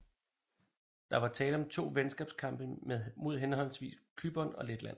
Der var tale om to venskabskampe mod henholdsvis Cypern og Letland